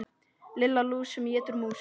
Lilla lús sem étur mús.